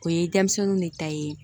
O ye denmisɛnninw de ta ye